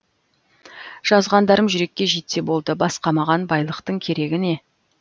жазғандарым жүрекке жетсе болды басқа маған байлықтың керегі не